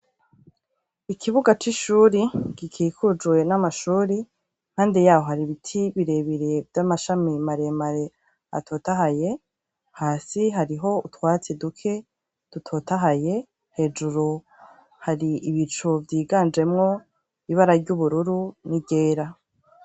Ikibuga c'ishuri gikikujwe n'amashuri, impande yaho hari ibiti birebire vy'amashami maremare atotahaye, hasi hariho utwatsi duke dutotahaye, hejuru hari ibicu vyiganjemwo ibara ry'ubururu n'iryera.